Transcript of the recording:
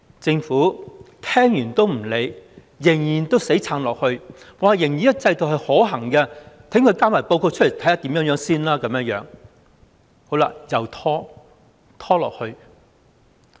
政府聽完也不理會，仍然在死撐，仍然說這個制度可行，待它交報告後再看情況，一再拖延。